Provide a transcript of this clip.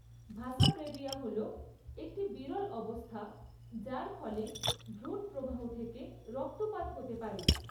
ভাসা প্রেভিয়া হল একটি বিরল অবস্থা যার ফলে ভ্রূণপ্রবাহ থেকে রক্তপাত হতে পারে।